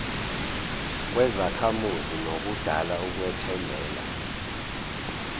kuzakhamuzi nokudala ukwethembela